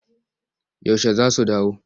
Yaushe za su dawo?